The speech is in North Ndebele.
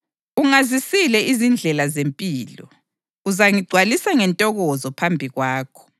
Ungazisile izindlela zempilo; uzangigcwalisa ngentokozo phambi kwakho.’ + 2.28 AmaHubo 16.8-11